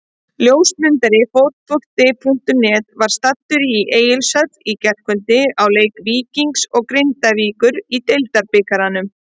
Ljósmyndari Fótbolti.net var staddur í Egilshöll í gærkvöldi á leik Víkings og Grindavíkur í Deildabikarnum.